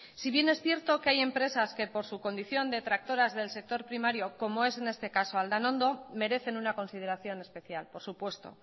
si bien es cierto que hay empresas que por su condición detractoras del sector primario como es en este caso aldanondo merecen una consideración especial por supuesto